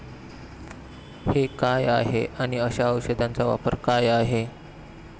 हे काय आहे आणि अशा औषधांचा वापर काय आहे?